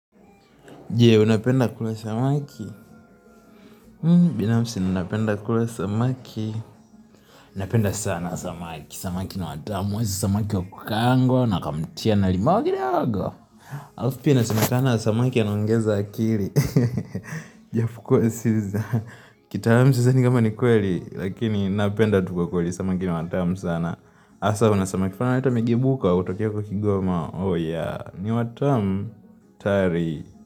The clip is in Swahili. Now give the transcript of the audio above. Je, unapenda kula samaki? Binafsi, ninapenda kula samaki. Napenda sana samaki. Samaki ni watamu. Hasa samaki wa kukangwa na wakamtia na limau kidogo. Halafu pia inasemekana samaki anaongeza akili. Ijapokuwa si za. Kitalamu sidhani kama ni kweli. Lakini, napenda tu kwa kweli samaki ni watamu sana. Asa, unapenda kifaa na leta imejibuka. Utokea kwa kigoma. Oh ya, ni watamu. Tari.